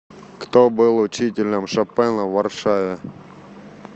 кто был учителем шопена в варшаве